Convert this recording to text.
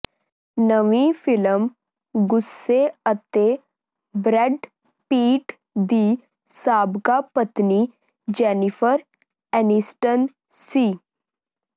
ਨਵੀਂ ਫ਼ਿਲਮ ਗੁੱਸੇ ਅਤੇ ਬਰੈਡ ਪਿਟ ਦੀ ਸਾਬਕਾ ਪਤਨੀ ਜੈਨੀਫ਼ਰ ਐਨੀਸਟਨ ਸੀ